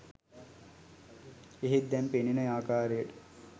එහෙත් දැන් පෙනෙන ආකාරයට